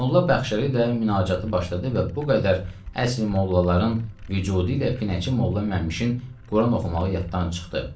Molla Bəxşəli də münaacatı başladı və bu qədər əsli mollaların vücudu ilə Pinəçi Molla Məmşin Quran oxumağı yaddan çıxdı.